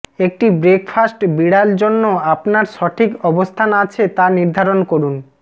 একটি ব্রেকফাস্ট বিড়াল জন্য আপনার সঠিক অবস্থান আছে তা নির্ধারণ করুন